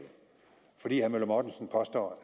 fordi herre møller mortensen påstår